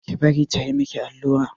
Ki bari ta yi miki allura!